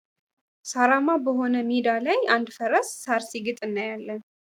ሳራማ በሆነ ሜዳ ላይ አንድ ፈረስ ሳር ሲግጥ እናያለን።